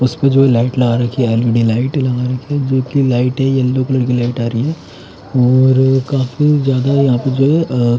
उसपे जो है लाइट लगा रखी है एल_इ_डी लाइट लगा रखी है जो कि लाइट है येलो कलर की लाइट आ रही है और काफी ज्यादा यहां पे जो है अह--